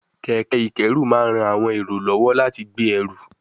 kẹ̀kẹ́ ìkẹ́rù máa ń ran àwọn èrò lọ́wọ́ láti gbé ẹrù